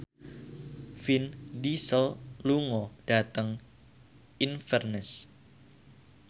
Vin Diesel lunga dhateng Inverness